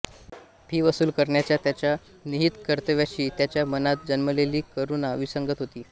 fee वसूल करण्याच्या त्याच्या निहित कर्तव्याशी त्याच्या मनात जन्मलेली करुणा विसंगत होती